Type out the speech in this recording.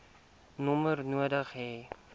nommer nodig hê